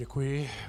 Děkuji.